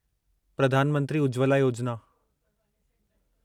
Pradhan Mantri Ujjwala Yojana